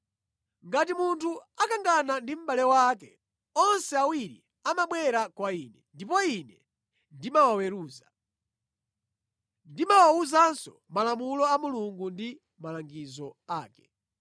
Ngati munthu akangana ndi mʼbale wake, onse awiri amabwera kwa ine, ndipo ine ndimawaweruza. Ndimawawuzanso malamulo a Mulungu ndi malangizo ake.”